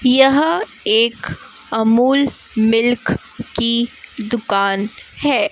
यहां एक अमूल मिल्क की दुकान है।